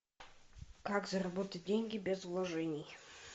как заработать деньги без вложений